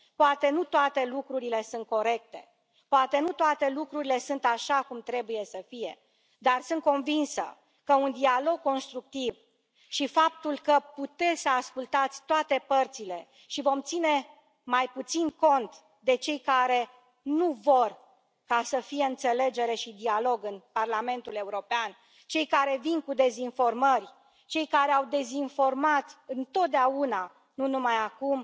Poate nu toate lucrurile sunt corecte, poate nu toate lucrurile sunt așa cum trebuie să fie, dar sunt convinsă că un dialog constructiv și faptul că puteți să ascultați toate părțile și vom ține mai puțin cont de cei care nu vor să fie înțelegere și dialog în Parlamentul European, cei care vin cu dezinformări, cei care au dezinformat întotdeauna, nu numai acum